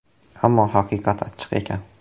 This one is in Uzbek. Ammo haqiqat achchiq ekan.